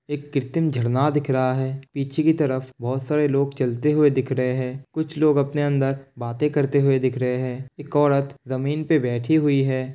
एक कृतं झरना दिख रहा है। पीछे कि तरफ बहोत सारे लोग चलते हुए दिख रहे हैं। कुछ लोग अपने अंदर बातें करते हुए दिख रहे हैं। एक औरत ज़मीन पे बैठी हुई है।